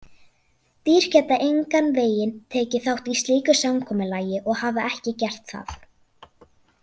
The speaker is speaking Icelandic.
Dýr geta engan veginn tekið þátt í slíku samkomulagi og hafa ekki gert það.